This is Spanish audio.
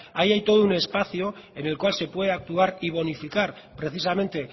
ahí hay todo un espacio en el cual se puede actuar y bonificar precisamente